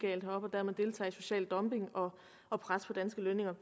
dermed deltager i social dumping og pres på danske lønninger